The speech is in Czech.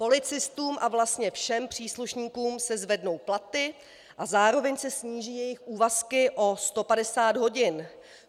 Policistům a vlastně všem příslušníkům se zvednou platy a zároveň se sníží jejich úvazky o 150 hodin.